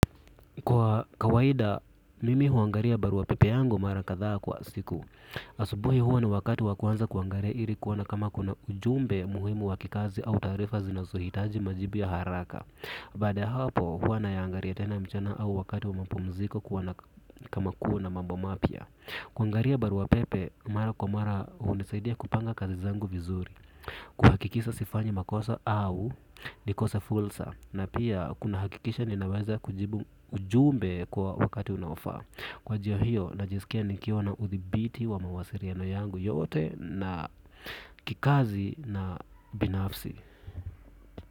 Kwa kawaida mimi huangalia barua pepe yangu mara kathaa kwa siku. Asubuhi huwa ni wakati wa kwanza kuangalia ili kuona kama kuna ujumbe muhimu wa kikazi au taarifa zinazohitaji majibu ya haraka baada ya hapo huwa nayangalia mchana au wakati wa mapumziko kuona kama kama kuna mambo mapya. Kuangaria barua pepe mara kwa mara hunisaidia kupanga kazi zangu vizuri. Kuhakikisa sifanyi makosa au nikosa fulsa. Na pia kuna hakikisha ninaweza kujibu ujumbe kwa wakati unaofaa. Kwa jia hiyo najisikia nikiwa na uthibiti wa mawasiriano yangu yote na kikazi na binafsi.